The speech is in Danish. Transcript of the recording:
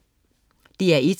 DR1: